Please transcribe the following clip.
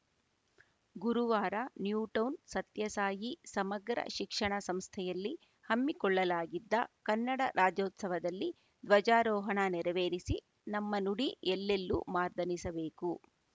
ಗುರುವಾರ ನ್ಯೂಟೌನ್‌ ಸತ್ಯಸಾಯಿ ಸಮಗ್ರ ಶಿಕ್ಷಣ ಸಂಸ್ಥೆಯಲ್ಲಿ ಹಮ್ಮಿಕೊಳ್ಳಲಾಗಿದ್ದ ಕನ್ನಡ ರಾಜ್ಯೋತ್ಸವದಲ್ಲಿ ಧ್ವಜಾರೋಹಣ ನೆರವೇರಿಸಿ ನಮ್ಮ ನುಡಿ ಎಲ್ಲೆಲ್ಲೂ ಮಾರ್ದನಿಸಬೇಕು